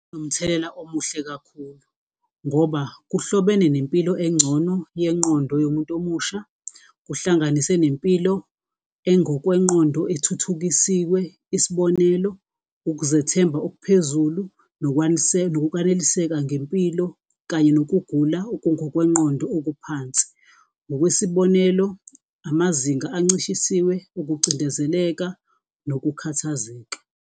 Nomthelela omuhle kakhulu, ngoba kuhlobene nempilo engcono yengqondo yomuntu omusha, kuhlanganise nempilo engokwengqondo ethuthukisiwe, isibonelo ukuzethemba okuphezulu nokwaneliseka ngempilo kanye nokugula okungokwengqondo okuphansi. Ngokwesibonelo, amazinga ancishisiwe, okucindezeleka nokukhathazeka.